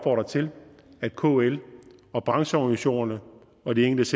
til at kl og brancheorganisationerne og de enkelte